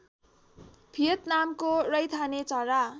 भियतनामको रैथाने चरा